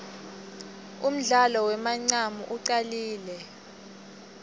undlalo wemancamu ucalile